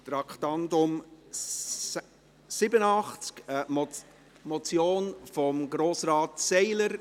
Traktandum 87, eine Motion von Grossrat Seiler.